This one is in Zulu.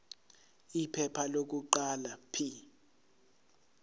iphepha lokuqala p